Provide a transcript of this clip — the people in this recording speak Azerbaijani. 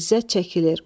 İzzət çəkilir.